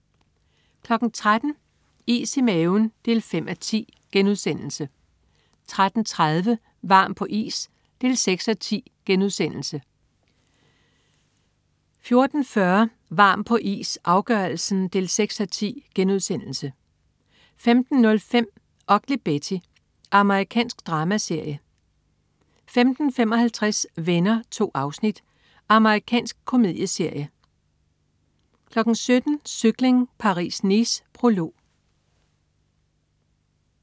13.00 Is i maven 5:10* 13.30 Varm på is 6:10* 14.40 Varm på is, afgørelsen 6:10* 15.05 Ugly Betty. Amerikansk dramaserie 15.55 Venner. 2 afsnit. Amerikansk komedieserie 17.00 Cykling: Paris-Nice. Prolog